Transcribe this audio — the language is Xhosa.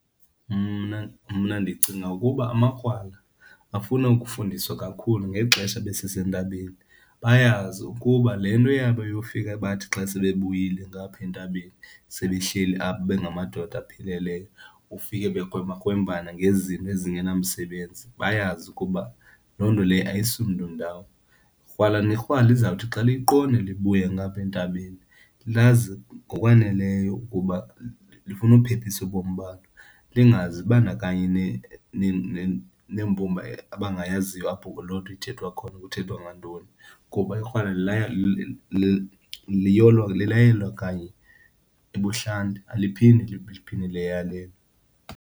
Mna mna ndicinga ukuba amakrwala afuna ukufundiswa kakhulu ngexesha besesentabeni, bayazi ukuba le nto yabo yofika bathi xa sebebuyile ngaphaa entabeni sebe hleli apha bengamadoda apheleleyo, ufike bekrwembakrwembana ngezinto ezingenamsebenzi, bayazi ukuba loo nto leyo ayisi mntu ndawo. Krwala nekrwala lizawuthi xa luyiqonde libuye ngaphaa entabeni lazi ngokwaneleyo ukuba lifuna uphephisa ubomi balo, lingazibandakanyi neembumba abangayaziyo apho loo nto ithethwa khona, kuthethwa ngantoni kuba ikrwala laya kanye ebuhlanti. Aliphinde, liphinde .